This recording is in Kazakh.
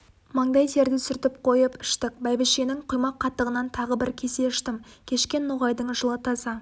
маңдай терді сүртіп қойып іштік бәйбішенің құймақ қатығынан тағы бір кесе іштім кешке ноғайдың жылы таза